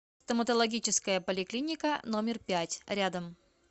стоматологическая поликлиника номер пять рядом